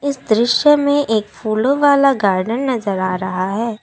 इस दृश्य में एक फूलों वाला गार्डेन नजर आ रहा है।